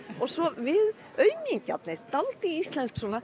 og svo við aumingjarnir dálítið íslensk svona